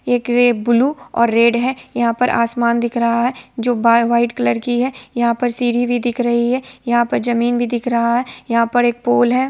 ये ब्लू और रेड है| यहा पे आसमान दिख रहा है जो वाय व्हाइट कलर की है| यहां पर सीढ़ी भी दिख रही है| यहा पे जमीन भी दिख रही है| यहा पर एक पोल है।